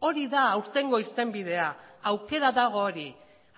hori da aurtengo irtenbidea aukera dago hori